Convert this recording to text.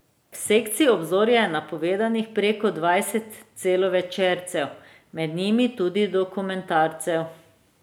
V sekciji Obzorja je napovedanih preko dvajset celovečercev, med njimi tudi dokumentarcev.